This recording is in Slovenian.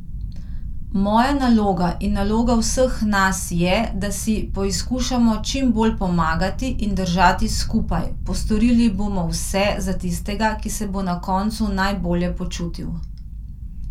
Moja naloga in naloga vseh nas je, da si poizkušamo čim bolj pomagati in držati skupaj, postorili bomo vse za tistega, ki se bo na koncu najbolje počutil.